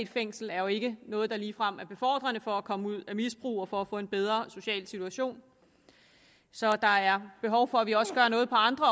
fængsel er jo ikke noget der ligefrem er befordrende for at komme ud af misbrug og for at få en bedre social situation så der er behov for at vi også gør noget på andre